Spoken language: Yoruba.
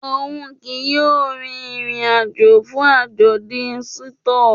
Oun kii yóò rin irin-ajo fun ajọdun Shinto.